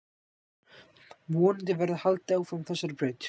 Vonandi verður haldið áfram á þessari braut.